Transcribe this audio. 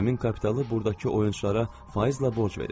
Həmin kapitalı buradakı oyunçulara faizlə borc verir.